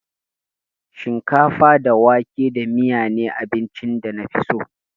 Shinkafa da wake da miyan ne abincin da na fi so.